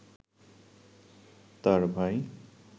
তাঁর ভাই